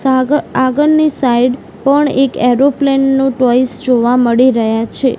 આગ આગળની સાઇડ પણ એક એરોપ્લેન નુ ટોય્સ જોવા મળી રહ્યા છે.